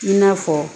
I n'a fɔ